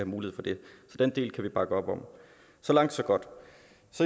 mulighed for det så den del kan vi bakke op om så langt så godt